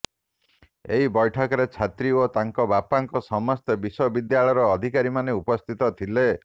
ଏହି ବ୘ଠକରେ ଛାତ୍ରୀ ଓ ତାଙ୍କ ବାପାଙ୍କ ସମେତ ବିଶ୍ବବିଦ୍ୟାଳୟର ଅଧିକାରୀମାନେ ଉପସ୍ଥିତ ଥିଲେ